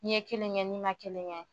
N'i ye kelen kɛ, n'i ma kelen kɛ.